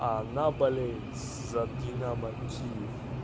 она болеет за динамо киев